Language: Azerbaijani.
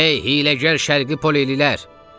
Ey, hiyləgər şərqi polililər!